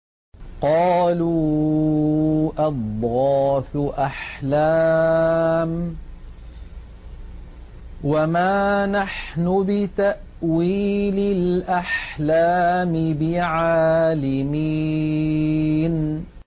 قَالُوا أَضْغَاثُ أَحْلَامٍ ۖ وَمَا نَحْنُ بِتَأْوِيلِ الْأَحْلَامِ بِعَالِمِينَ